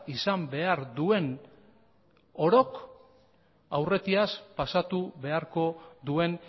izan behar duen orok aurretiaz pasatu beharko duen